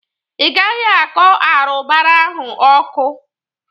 Ï gaghi akọ arụbara ahụ ọkụ.